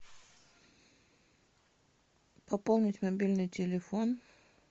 пополнить мобильный телефон